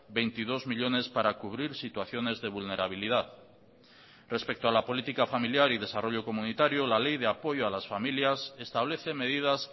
veintidós millónes para cubrir situaciones de vulnerabilidad respecto a la política familiar y desarrollo comunitario la ley de apoyo a las familias establece medidas